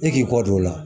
E k'i kɔ don o la